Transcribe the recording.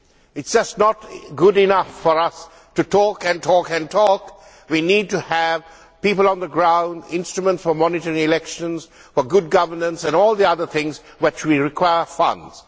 It is just not good enough for us to talk and talk and talk we need to have people on the ground, instruments for monitoring elections, good governance and all the other things for which we require funds.